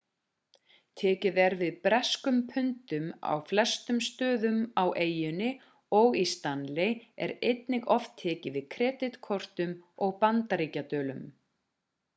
tekið er við breskum pundum á flestum stöðum á eyjunni og í stanley er einnig oft tekið við kreditkortum og bandaríkjadölum